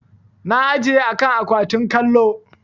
Na ajiye a kan akwatin kallo.